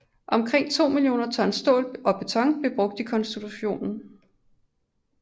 Omkring 2 millioner tons stål og beton blev brugt i konstruktionen